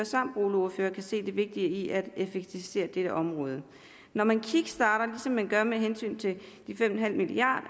samt boligordfører kan se det vigtige i at effektivisere dette område når man kickstarter ligesom man gør med hensyn til de fem milliard